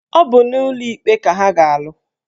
Ọ bụ n'ụlọ ikpe ka ha ga-alụ